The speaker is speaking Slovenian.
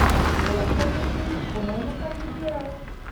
Bo lahko Petrovič ponovno kandidiral?